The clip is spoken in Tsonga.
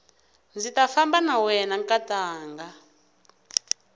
ndzi ta famba na wena nkatanga